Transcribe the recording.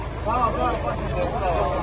Sağ olun, sağ olun, xoş gəldiniz.